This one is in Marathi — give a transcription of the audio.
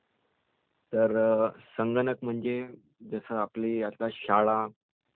तर संगणक म्हणजे जशी आपली आता शाळा ..